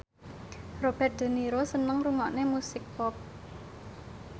Robert de Niro seneng ngrungokne musik pop